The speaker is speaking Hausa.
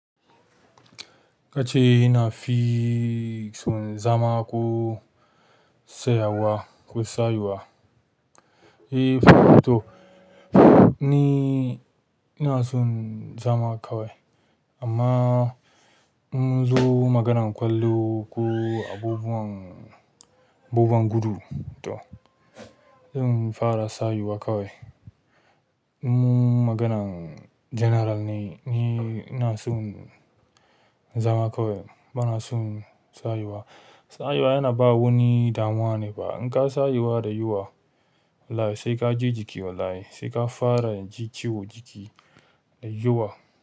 Kace ina fi son zama ko tsayuwa. Eh to ni ina son zama kawai amma in munzo maganan ƙwallo ko abubuwan gudu to zan fara tsayuwa kawai in mun maganan general ne, ni ina son zama kawai bana son sayuwa. Sayuwa yana ba wani damuwa ne ba. In ka sayuwa da yawa wallahi, sai ka ji jiki wallahi, sai ka fara ji ciwo jiki da yawa.